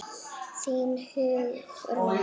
Þín Hugrún.